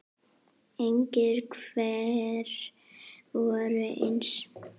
Engir tveir voru eins.